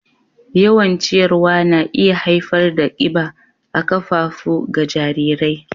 Yawan ciyarwa na iya haifar da kiba a ƙafafu ga jarirai.